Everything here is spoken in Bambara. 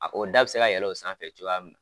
A ko da bɛ se ka yɛlɛ o sanfɛ cogoya mun.